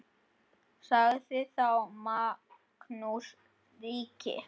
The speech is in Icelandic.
Sagði þá Magnús ríki: